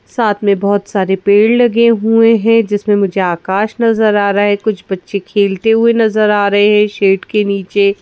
साथ में बहुत सारे पेड़ लगे हुए हैं जिसमें मुझे आकाश नजर आ रहा है कुछ बच्चे खेलते हुए नजर आ रहे है शेड के नीचे--